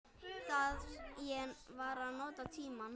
Ég var að nota tímann.